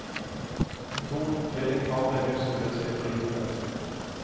Med to tvillingpar ble huset plutselig for lite.